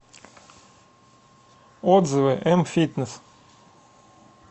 отзывы мфитнес